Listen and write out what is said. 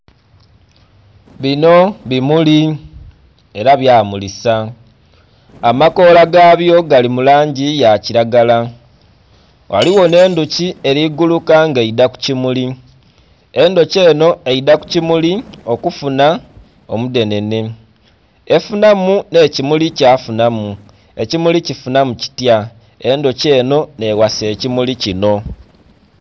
Binho bimuli era bya mulisa amakoola gabyo gali mulangi ya kilagala ghaligho nhe endhoki eri guuluka nga eidha ku kimuli, endhoki enho eidha ku kimuli okufunha omu dhenene efunhamu nhe kimuli kya funamu, ekimuli kifunhamu mitya? Endhuki enho nhe ghasa ekimuli kinho.